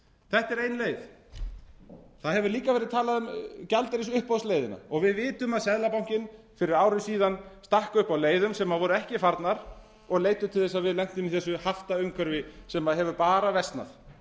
þetta er ein leið það hefur líka verið talað um gjaldeyrisuppboðsleiðina og við vitum að seðlabankinn fyrir ári síðan stakk upp á leiðum sem voru ekki farnar og leiddu til þess að við lentum í þessu haftaumhverfi sem hefur bara versnað